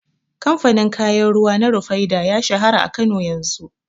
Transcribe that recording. Kamfanin kayan ruwa na Rufaidah ya shahara a Kano yanzu.